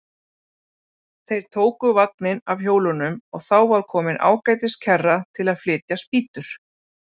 Þeir tóku vagninn af hjólunum og þá var komin ágætis kerra til að flytja spýtur.